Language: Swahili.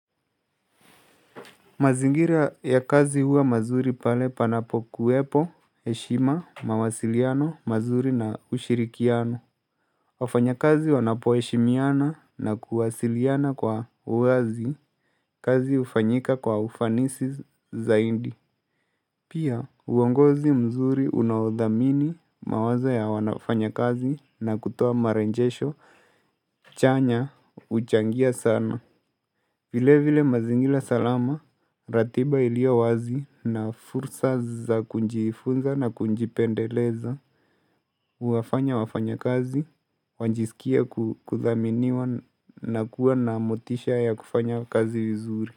Mazingira ya kazi huwa mazuri pale panapokuwepo heshima, mawasiliano mazuri na ushirikiano. Wafanya kazi wanapoeshimiana na kuwasiliana kwa uwazi, kazi hufanyika kwa ufanisi zaindi. Pia, uongozi mzuri unaodhamini mawazo ya wanao fanya kazi na kutoa maranjesho chanya uchangia sana. Vile vile mazingila salama, ratiba ilio wazi na fursa za kunjifunza na kunjipendeleza, uwafanya wafanya kazi, wanjisikia kuthaminiwa na kuwa na motisha ya kufanya kazi vizuri.